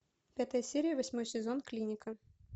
пятая серия восьмой сезон клиника